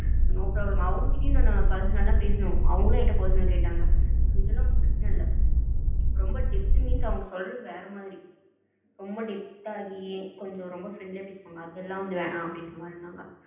no problem அவங்க கிட்டயும் நா personal ஆ பேசணும் அவங்களும் என் கிட்ட personal ஆ கேட்டாங்க ரொம்ப depth means அவங்க சொல்றது வேற மாரி ரொம்ப டெப்த் ஆகி கொஞ்ச ரொம்ப ஒரு friendly யா பேசுவாங்கல அதுல வேணாம் அப்டிங்கற மாதிரி